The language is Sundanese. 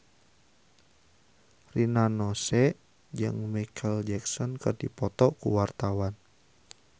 Rina Nose jeung Micheal Jackson keur dipoto ku wartawan